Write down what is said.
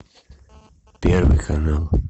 первый канал